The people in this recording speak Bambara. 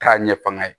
K'a ɲɛfɔ nga